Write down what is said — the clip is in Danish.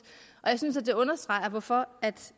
og jeg synes at det understreger hvorfor